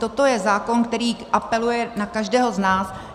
Toto je zákon, který apeluje na každého z nás.